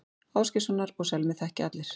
Ásgeirssonar og Selmu þekkja allir.